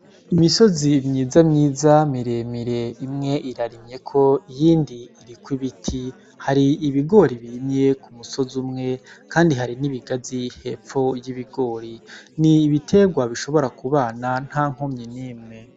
Imisozi myiza myiza miremire imwe irarimyeko iyindi iriko ibiti hari ibigori bimye ku musozi umwe, kandi hari n'ibigazi hepfo y'ibigori ni ibiterwa bishobora kubana nta nkumye n'imwe.